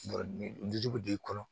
b'i kɔnɔ